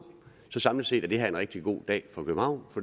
så samlet set er det her en rigtig god dag for københavn